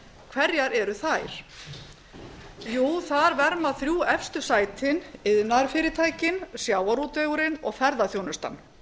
hverjar eru þær jú þar verma þrjú efstu sætin iðnaðarfyrirtækin sjávarútvegurinn og ferðaþjónustan